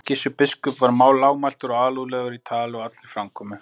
Gissur biskup var lágmæltur og alúðlegur í tali og allri framkomu.